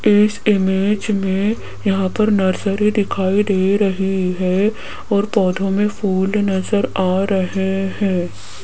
इस इमेज में यहां पर नर्सरी दिखाई दे रही है और पौधों में फूल नजर आ रहे हैं।